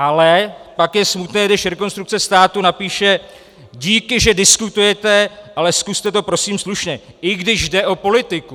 Ale pak je smutné, když Rekonstrukce státu napíše: díky, že diskutujete, ale zkuste to prosím slušně, i když jde o politiku.